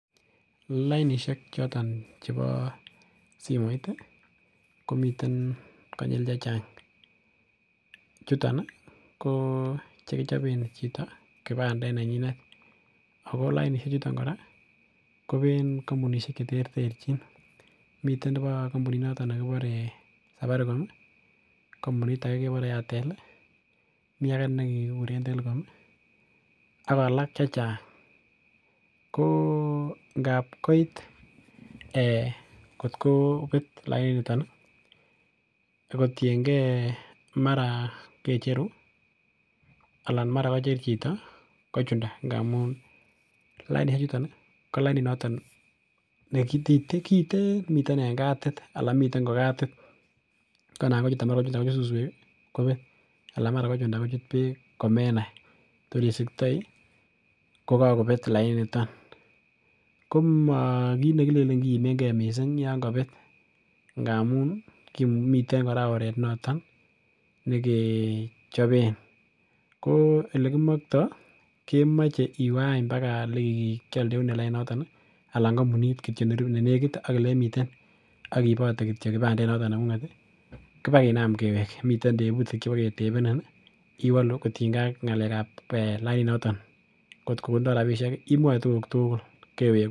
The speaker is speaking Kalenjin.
Lainisiek choton chebo simoit, komiten konyil chechang. Chuton ko chekichoben chito kipandet nenyinet ago lainisiechuton kora kobeen kampunisiek cheter terchin. Miten nebi kampunito nekibore safaricom, kampunit age kebore airtel, mi age nekekuren telecom ak alak che chang. Ko ngabkoit kotkobet laininitok agotienge mara kecheru anan mara kocher chito kochunda ngamun lainisiechuton, ko laininito nekiten miten en kadit anan miten kokadit anan mara kochunda kochut suswek kobet anan mara kochunda kochut beek komenai, korisikotoi kokakobet laini niton. Komakit nekilenen kiimenge mising yon kabet, ngamun kimuchi, miten kora oret noton nekechopen. Ko olekimokto kemoche iweany paka olekikialen laini noton anan kampunit nenekit ak elemiten ak iibote kityo kipandet noton nengunget kibakinam kewek. Miten tebutik cheboketebenin iwolu kotinynge ak ngalekab laininotok. Ngotkokotindo rapisiek imwae tuguk tugul kewek.